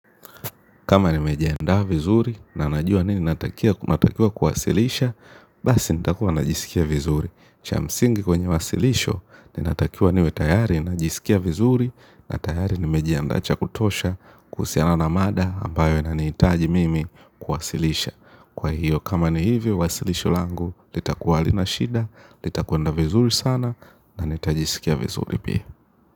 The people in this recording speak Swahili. Kama nimejiandaaa vizuri na najua nini natakiwa kuwasilisha, basi nitakuwa najisikia vizuri. Cha msingi kwenye wasilisho, ninatakiwa niwe tayari najisikia vizuri na tayari nimejiandaa cha kutosha kuhusiana na mada ambayo inanitaji mimi kuwasilisha. Kwa hiyo kama ni hivyo, wasilisho langu, litakuwa halina shida, litakweenda vizuri sana na nitajisikia vizuri pia.